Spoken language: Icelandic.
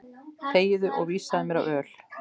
Þegiðu og vísaðu mér á öl.